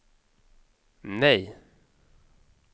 nej